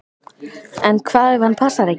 En hvað ef hann passar ekki?